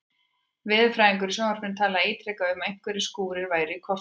Veðurfræðingur í sjónvarpinu talaði ítrekað um að einhverjir skúrir væru í kortunum.